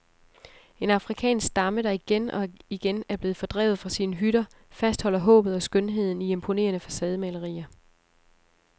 En afrikansk stamme, der igen og igen er blevet fordrevet fra sine hytter, fastholder håbet og skønheden i imponerende facademalerier.